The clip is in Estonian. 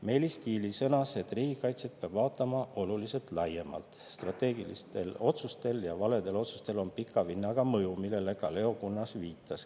Meelis Kiili sõnas, et riigikaitset peab vaatama oluliselt laiemalt, strateegilistel otsustel ja valedel otsustel on pika vinnaga mõju, millele ka Leo Kunnas viitas.